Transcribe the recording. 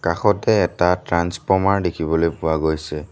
কাষতে এটা ট্ৰন্সফৰ্মাৰ দেখিবলৈ পোৱা গৈছে।